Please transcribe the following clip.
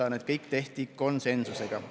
Kõik need otsused tehti konsensusega.